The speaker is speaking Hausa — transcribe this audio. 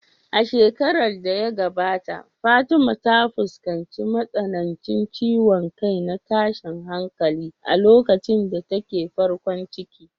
A shekarar da ta gabata Fatima ta fuskanci matsanancin ciwon kai na tashin hankali a lokacin da take farkon ciki.